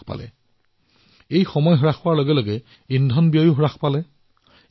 টোল প্লাজাত অপেক্ষাৰ সময় হ্ৰাস হোৱাত ইন্ধনো ৰাহি হৈছে